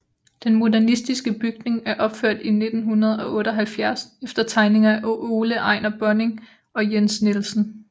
Den modernistiske bygning er opført 1978 efter tegninger af Ole Ejnar Bonding og Jens Nielsen